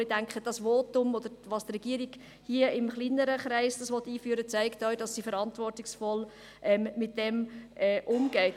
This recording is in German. Ich denke, ihr Votum, respektive, dass die Regierung das hier in einem kleineren Kreis einführen will, zeigt auch, dass sie verantwortungsvoll damit umgeht.